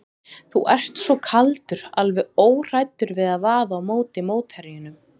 Þú ert svo kaldur, alveg óhræddur við að vaða á móti mótherjunum.